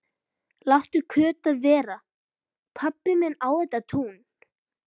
Láttu Kötu vera, pabbi minn á þetta tún!